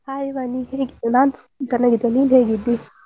Hai Vani ಹೇಗಿ~ ನಾನು ಚೆನ್ನಾಗಿದ್ದೇನೆ ನೀನು ಹೇಗಿದ್ದಿ?